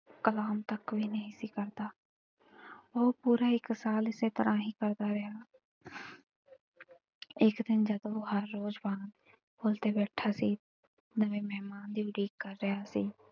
ਕਲਾਮ ਤਕ ਵੀ ਨਹੀਂ ਸੀ ਕਰਦਾ ਉਹ ਪੂਰਾ ਇਕ ਸਾਲ ਏਸ ਤਰਾਂ ਹੀ ਕਰਦਾ ਰਿਹਾ ਇੱਕ ਦਿਨ ਜਦੋ ਉਹ ਹਰ ਰੋਜ ਵਾਂਗ ਪੁੱਲ ਤੇ ਬੈਠਾ ਸੀ ਨਵੇਂ ਮਹਿਮਾਨ ਦੀ ਉਡੀਕ ਕਰ ਰਿਹਾ ਸੀ।